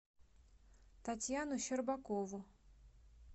татьяну щербакову